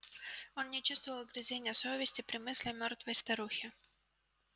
он не чувствовал угрызения совести при мысли о мёртвой старухе